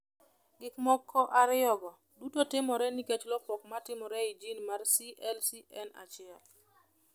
Gik moko ariyogo duto timore nikech lokruok ma timore e jin mar CLCN1.